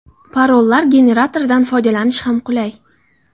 Parollar generatoridan foydalanish ham qulay.